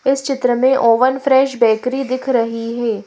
इस चित्र में ओवन फ्रेश बेकरी दिख रही है।